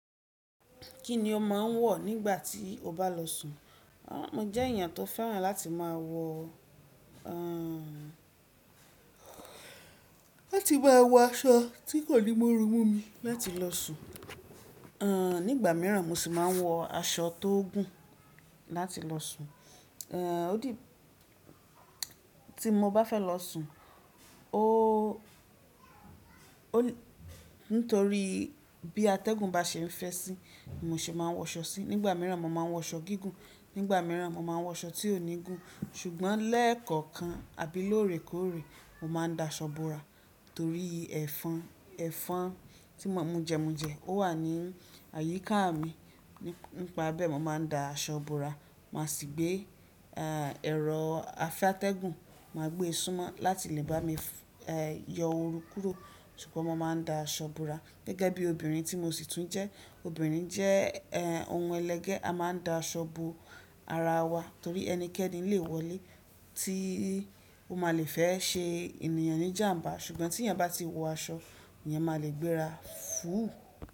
Kí ni ọ máa ń wọ̀ nígbà tí o bá lọ sùn? Mo jẹ́ eèyán tó fẹ́ràn láti máa wọ̀, láti máa wọ aṣọ tí kò ní mu ooru mú mi láti lọ sùn. Àn, nígbà míràn mo sì máa ń wọ aṣọ tó gùn láti lọ sùn. Ó di tí mo bá fẹ́ lọ sùn, ó, ó, nítorí bí atẹ́gùn bá ṣe ń fẹ́ sí i mo sì máa ń wọ aṣọ sí i. Nígbà míràn mo máa ń wọ aṣọ gígùn, nígbà míràn mo máa ń wọ aṣọ tí ò ní gùn. Ṣùgbọ́n lẹ́ẹ̀kọ̀kan àbí lóòrèkóòrè mo máa ń da aṣọ bora torí ẹfọn, ẹfọn tí mujẹ mujẹ, ó wà ní àyíká mi. Nípa bẹ́ẹ̀ mó máa ń da aṣọ bora, mà sì gbé, à, ẹ̀rọ afẹ́ atẹ́gùn, mà gbé e súnmọ́ láti lè bá mi, ẹ́, yọ ooru kúrò. Ṣùgbọ́n mo máa ń da aṣọ bora gẹ́gẹ́ bí obìnrin tí mo sì tún jẹ́. Obìnrin jẹ́, ẹ́, ohun ẹlẹgẹ́, a máa ń da aṣọ bo ara wa torí ẹnikẹ́ni le wọlé tí ó máa le fẹ́ ṣe ènìyàn ní jàmbá. Ṣùgbọ́n tí ènìyàn bá ti wọ aṣọ, èeyàn máa le gbéra fúù.